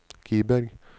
Kiberg